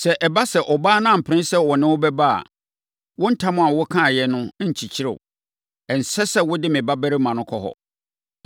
Sɛ ɛba sɛ, ɔbaa no ampene sɛ ɔne wo bɛba a, wo ntam a wokaeɛ no nkyekyere wo. Ɛnsɛ sɛ wode me babarima no kɔ hɔ.”